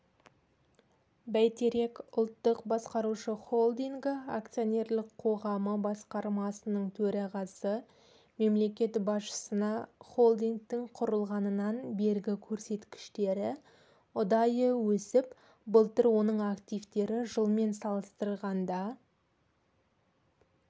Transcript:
бәйтерек ұлттық басқарушы холдингі акционерлік қоғамы басқармасының төрағасы мемлекет басшысына холдингтің құрылғаннан бергі көрсеткіштері ұдайы өсіп былтыр оның активтері жылмен салыстырғанда